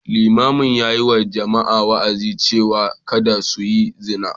Limamin ya yi wa jama’a wa’azi cewa kada su yi zina.